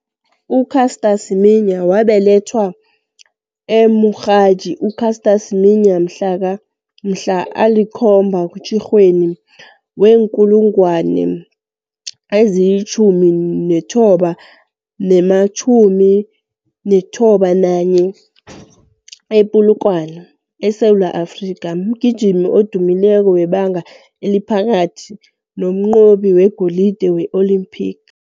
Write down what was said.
U-Caster Semenya, wabelethwa e-Mokgadi u-Caster Semenya mhlana ali-7 kuTjhirhweni wee-1991, e-Polokwane, eSewula Afrika, mgijimi odumileko webanga eliphakathi nomnqobi wegolide we-Olimpiki.